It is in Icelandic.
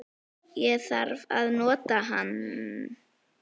Ég þarf að nota hann